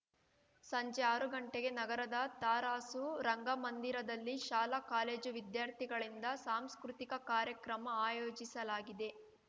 ಸಂಜೆ ಆರು ಗಂಟೆಗೆ ನಗರದ ತರಾಸು ರಂಗಮಂದಿರದಲ್ಲಿ ಶಾಲಾಕಾಲೇಜು ವಿದ್ಯಾರ್ಥಿಗಳಿಂದ ಸಾಂಸ್ಕೃತಿಕ ಕಾರ್ಯಕ್ರಮ ಆಯೋಜಿಸಲಾಗಿದೆ